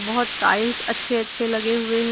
बहुत टाइल्स अच्छे अच्छे लगे हुए हैं।